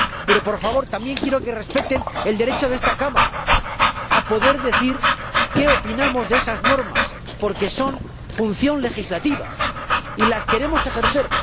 Pero, por favor, también quiero que respeten el derecho de esta Cámara a poder decir qué opinamos de esas normas, porque son sus funciones legislativas y las queremos ejercer.